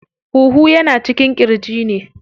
Huhu yana cikin ƙirji ne.